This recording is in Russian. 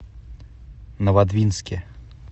новодвинске